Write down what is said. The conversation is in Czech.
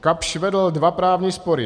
Kapsch vedl dva právní spory.